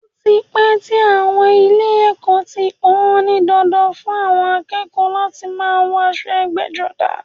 Ó ti pẹ́ tí àwọn ilé ẹ̀kọ́ ti pọn-ọ́n ní dandan fún àwọn akẹ́kọ̀ọ́ láti máa wọ aṣọ ẹgbẹ́-jọdá.